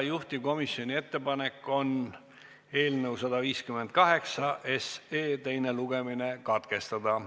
Juhtivkomisjoni ettepanek on eelnõu 158 teine lugemine katkestada.